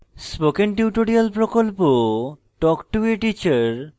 spoken tutorial প্রকল্প talk to a teacher প্রকল্পের অংশবিশেষ